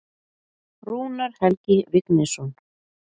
Rúnar Helgi Vignisson.